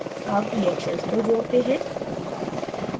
add reactions को जोड़ते हैं